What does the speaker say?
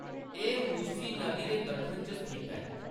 एह्‌‌ मुसी नदी दे दक्खन च स्थित ऐ।